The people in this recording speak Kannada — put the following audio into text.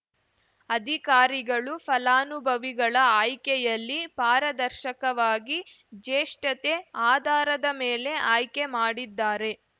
ಅಧಿಕಾರಿಗಳು ಫಲಾನುವಿಗಳ ಆಯ್ಕೆಯಲ್ಲಿ ಪಾರದರ್ಶಕವಾಗಿ ಜೇಷ್ಟತೆ ಆಧಾರದ ಮೇಲೆ ಆಯ್ಕೆ ಮಾಡಿದ್ದಾರೆ